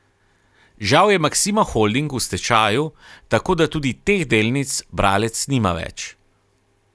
Žal je Maksima holding v stečaju, tako da tudi teh delnic bralec nima več.